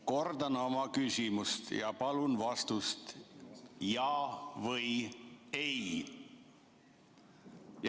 Kordan oma küsimust ja palun vastake jaa või ei.